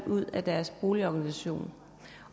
ud af deres boligorganisation